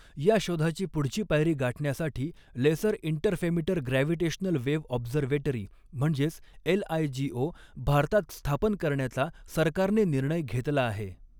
या शोधाची पुढची पायरी गाठण्यासाठी laser interferometer gravitational wave observatory म्हणजेच एलआयजीओ भारतात स्थापन करण्याचा सरकारने निर्णय घेतला आहे.